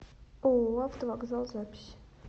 ооо автовокзал запись